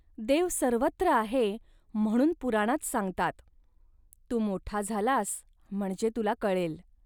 देव सर्वत्र आहे म्हणून पुराणात सांगतात. तू मोठा झालास, म्हणजे तुला कळेल